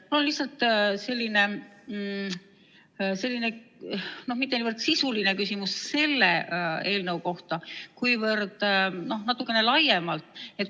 Mul on lihtsalt selline mitte niivõrd sisuline küsimus selle eelnõu kohta, kuivõrd natukene laiem.